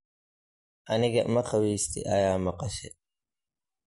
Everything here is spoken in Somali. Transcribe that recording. Aniga maqawesti aya maqashe.